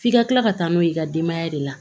F'i ka kila ka taa n'o ye i ka denbaya de la